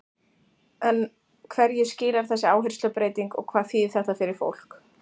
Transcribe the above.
En hverju skilar þessi áherslubreyting og hvað þýðir þetta fyrir fólk?